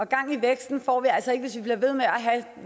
gang i væksten og vi altså ikke hvis vi bliver ved med at have